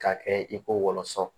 K'a kɛ i ko wɔlɔsɔ